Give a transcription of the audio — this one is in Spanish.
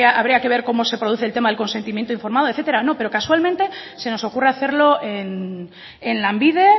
habría que ver cómo se produce el tema de consentimiento informado etcétera no pero casualmente se nos ocurre hacerlo en lanbide